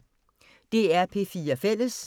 DR P4 Fælles